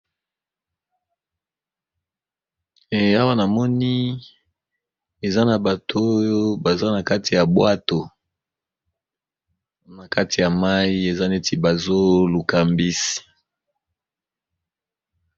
E awa na moni eza na bato oyo baza na kati ya bwato na kati ya mai eza neti bazo lukambisi.